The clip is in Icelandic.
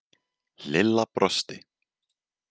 Lilla brosti.